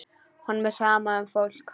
Honum er sama um fólk.